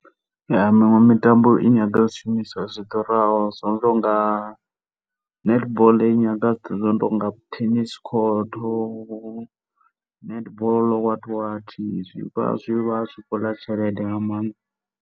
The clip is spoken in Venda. Ya, miṅwe mitambo i nyaga zwishumiswa zwi ḓuraho zwo no to nga, netball i nyaga zwithu zwi no to nga tennis court, netball what what, zwi vha zwi tshi khou ḽa tshelede nga maanḓa.